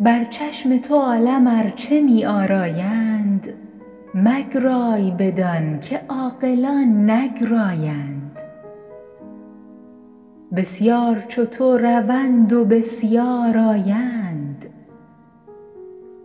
بر چشم تو عالم ارچه می آرایند مگرای بدان که عاقلان نگرایند بسیار چو تو روند و بسیار آیند